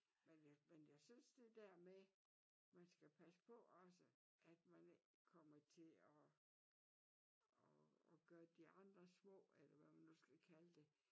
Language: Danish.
Men jeg men jeg synes det der med man skal passe på også at man ikke kommer til og og og gøre de andre små eller hvad man nu skal kalde det